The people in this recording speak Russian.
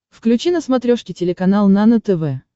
включи на смотрешке телеканал нано тв